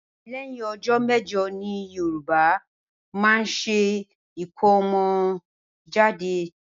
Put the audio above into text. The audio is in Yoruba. Lẹ́yìn ọjọ méjọ ni Yoruba máa ń ṣe ikọ́mọ́jade